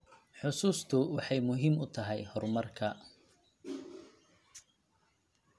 Xusuustu waxay muhiim u tahay horumarka.